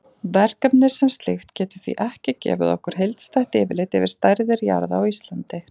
Verkefnið sem slíkt getur því ekki gefið okkur heildstætt yfirlit yfir stærðir jarða á Íslandi.